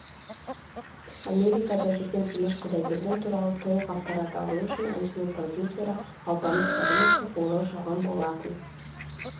америкада жүрген димаш құдайберген туралы толық ақпарат алу үшін әншінің продюсері алпамыс шаримовке қоңырау шалған болатын